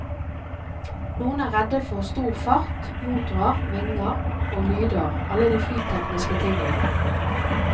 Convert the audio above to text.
Noen er redde for stor fart, motorer, vinger og lyder, alle de flytekniske tingene.